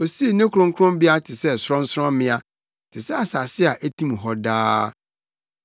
Osii ne kronkronbea te sɛ sorɔnsorɔmmea, te sɛ asase a etim hɔ daa.